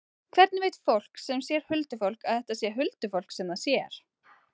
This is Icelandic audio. Hvernig veit fólk sem sér huldufólk að þetta er huldufólk sem það sér?